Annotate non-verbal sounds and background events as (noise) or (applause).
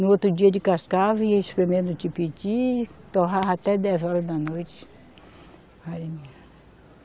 No outro dia descascava e ia espremendo, (unintelligible) torrava até dez horas da noite.